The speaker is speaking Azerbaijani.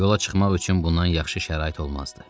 Yola çıxmaq üçün bundan yaxşı şərait olmazdı.